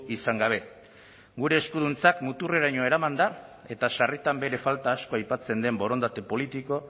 izan gabe gure eskuduntzak muturreraino eraman da eta sarritan bere falta asko aipatzen den borondate politiko